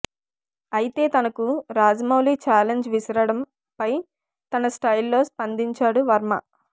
అయితే తనకు రాజమౌళి ఛాలెంజ్ విసరడం పై తన స్టైల్ లో స్పందించాడు వర్మ